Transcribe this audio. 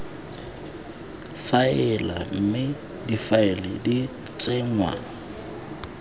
faela mme difaele di tsenngwa